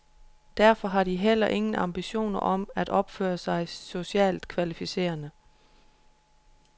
Derfor har de heller ingen ambitioner om at opføre sig socialt kvalificerende.